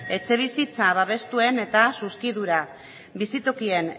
etxebizitza babestuen eta zuzkidura bizitokien